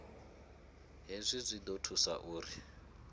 hezwi zwi ḓo thusa uri